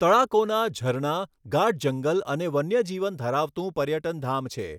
તળાકોના ઝરણા, ગાઢ જંગલ અને વન્યજીવન ધરાવતું પર્યટનધામ છે.